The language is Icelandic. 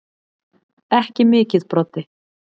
Ekki mikið Broddi.